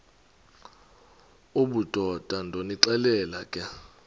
obudoda ndonixelela ke